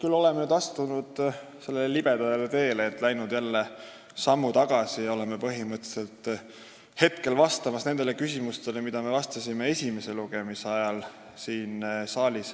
Me oleme nüüd astunud sellele libedale teele, et läinud sammu tagasi: ma vastan põhimõtteliselt jälle nendele küsimustele, millele ma vastasin siin saalis esimese lugemise ajal.